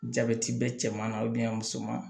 Jabɛti bɛ cɛman na musoman